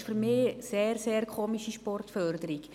Das ist für mich eine ausgesprochen sonderbare Sportförderung.